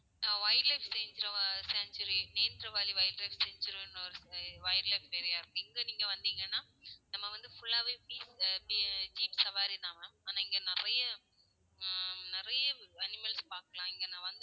wildlife san~sanctuary நெட்ரவாலி wildlife சன்ச்சுவரின்னு ஒரு wildlife area இருக்கு. இங்க நீங்க வந்தீங்கன்னா நம்ம வந்து full ஆ வே zeep ஹம் zeep சவாரி தான் ma'am ஆனா இங்க நிறைய ஹம் நிறைய animals பாக்கலாம். இங்க நான் வந்து